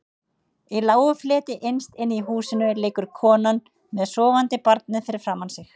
Í lágu fleti innst inni í húsinu liggur konan með sofandi barnið fyrir framan sig.